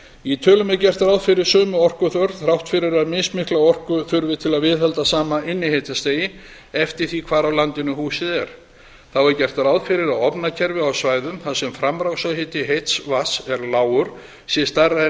í tölunum er gert ráð fyrir sömu orkuþörf þrátt fyrir að mismikla orku þurfi til að viðhalda sama innihitastigi eftir því hvar á landinu húsið er þá er gert ráð fyrir að ofnakerfi á svæðum þar sem framrásarhiti heits vatns er lágur sé stærra en